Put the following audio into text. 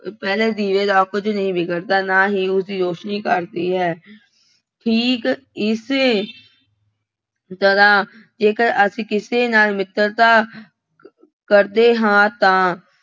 ਪਹਿਲੇ ਦੀਵੇ ਦਾ ਕੁੱਝ ਨਹੀਂ ਵਿਗੜਦਾ। ਨਾ ਹੀ ਉਸਦੀ ਰੌਸ਼ਨੀ ਘੱਟਦੀ ਹੈ। ਠੀਕ ਇਸੇ ਤਰ੍ਹਾਂ ਜੇਕਰ ਅਸੀਂ ਕਿਸੇ ਨਾਲ ਮਿੱਤਰਤਾ ਕਰਦੇ ਹਾਂ ਤਾਂ